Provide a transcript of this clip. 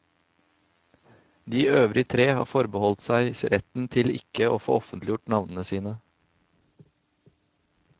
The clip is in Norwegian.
De øvrige tre har forbeholdt seg retten til ikke å få offentliggjort navnene sine.